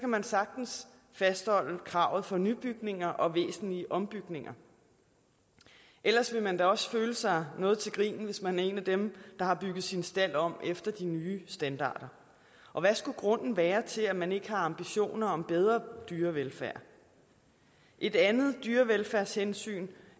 man sagtens fastholde kravet for nybygninger og væsentlige ombygninger ellers ville man da også føle sig noget til grin hvis man er en af dem der har bygget sin stald om efter de nye standarder og hvad skulle grunden være til at man ikke har ambitioner om bedre dyrevelfærd et andet dyrevelfærdshensyn